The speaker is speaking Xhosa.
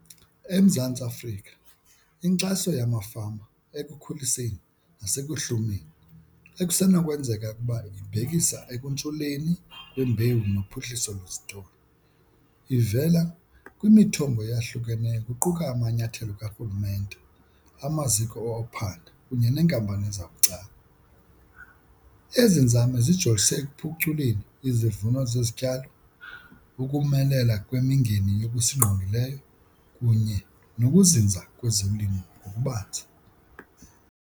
EMzantsi Afrika inkxaso yamafama ekukhuliseni nasekuhlumeni ekusenokwenzeka ukuba ibhekisa ekuntshuleni kwembewu nophuhliso lwezitolo ivela kwimithombo eyahlukeneyo kuquka amanyathelo karhulumente, amaziko ophanda kunye neenkampani zabucala. Ezi nzame zijolise ekuphuculeni izivuno zezityalo, ukumelela kwemingeni yokusingqongileyo kunye nokuzinza kwezolimo ngokubanzi.